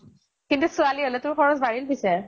কিন্তু ছোৱালী হʼলে তোৰ খৰচ বাঢ়িল পিছে।